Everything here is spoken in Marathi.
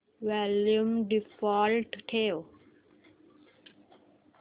वॉल्यूम डिफॉल्ट ठेव